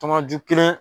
Tɔnju kelen